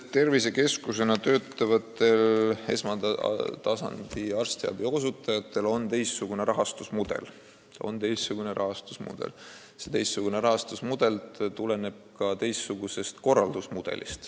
Tervisekeskuses esmatasandi arstiabi osutajatel on teistsugune rahastusmudel, mis tuleneb teistsugusest korraldusmudelist.